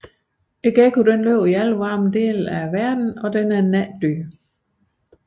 Gekkoen lever i alle varme dele af verden og er et natdyr